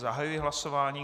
Zahajuji hlasování.